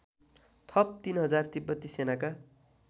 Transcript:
थप ३००० तिब्बती सेनाका